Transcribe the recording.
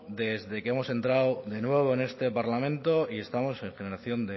desde que hemos entrado de nuevo en este parlamento y estamos en generación